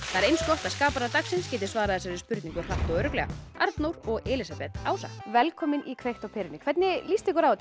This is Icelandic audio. það er eins gott að skaparar dagsins geti svarað þessari spurningu hratt og örugglega Arnór og Elísabet Ása velkomin í kveikt á perunni hvernig líst ykkur á þetta